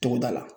Togoda la